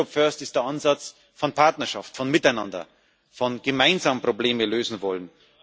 Europe First ist der Ansatz von Partnerschaft, von Miteinander, davon, gemeinsam Probleme lösen zu wollen.